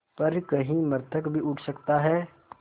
पर कहीं मृतक भी उठ सकता है